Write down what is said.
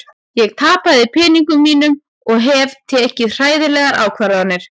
Ég tapaði peningunum mínum og hef tekið hræðilegar ákvarðanir.